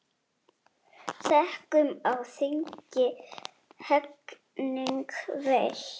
Sekum á þingi hegning veitt.